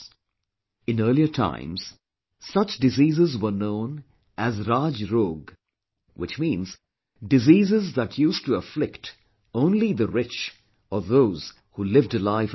In earlier times, such diseases were known as 'RajRog' which means diseases that used to afflict only the rich or those who lived a life of luxury